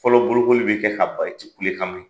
Fɔlɔ bolokoli be kɛ ka ban i ti kulekan mɛn.